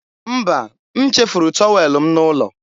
mba, m chefuru tọwel m n'ụlọ.